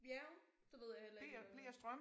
Ja det ved jeg heller ikke lige hvad er